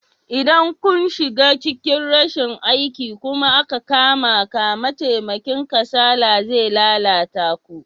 Idan kun shiga cikin rashin aiki kuma aka kamaka, mataimakin kansala zai lalata ku.